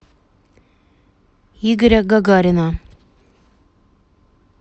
игоря гагарина